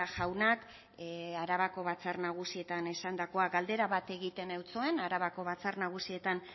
jaunak arabako batzar nagusietan esandakoa galdera bat egiten zuen arabako batzar nagusietan